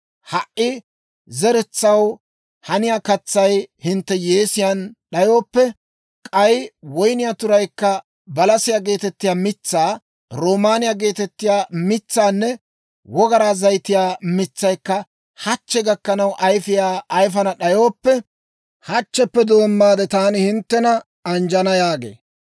Ha"i zeretsaw haniyaa katsay hintte yeesiyaan d'ayooppe, k'ay woyniyaa turay, balasiyaa geetettiyaa mitsaa, roomaaniyaa geetettiyaa mitsaanne wogaraa zayitiyaa mitsaykka hachche gakkanaw ayfiyaa ayifana d'ayooppe, hachcheppe doommaade taani hinttena anjjana» yaagee.